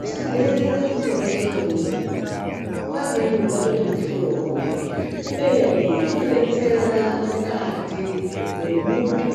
Usadherera bundo reshe raunoona nguwa imweni ungatoti mushuro wemombe kubeni rinodetsera mukati mwemuntu